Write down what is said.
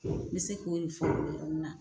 I bɛ se kode fɔ nin yɔrɔ ni na.